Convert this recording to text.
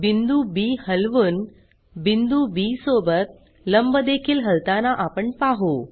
बिंदू बी हलवून बिंदू बी सोबत लंब देखील हलताना आपण पाहु